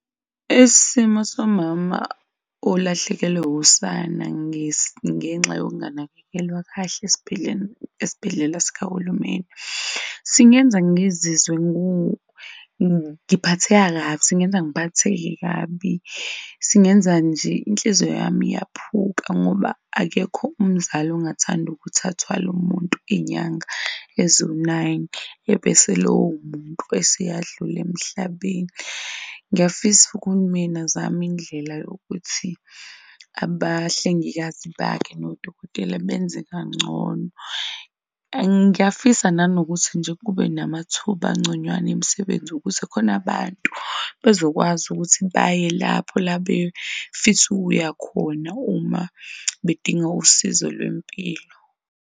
Isimo somama olahlekelwe usana ngenxa yokunganakekelwa kahle esibhedlela sikahulumeni, singenza ngizizwe ngiphatheka kabi, singenza ngiphatheke kabi. Singenza nje, inhliziyo yami iyaphuka ngoba akekho umzali ongathanda ukuthi athwale umuntu iy'nyanga eziwu nine ebese lowo muntu ese'yadlula emhlabeni. Ngiyafisa uhulumeni azame indlela yokuthi abahlengikazi bakhe nodokotela benze kangcono. Ngiyafisa nanokuthi nje kube namathuba angconywana emisebenzi ukuze khona abantu bezokwazi ukuthi baye lapho labefisa ukuya khona uma bedinga usizo lwempilo.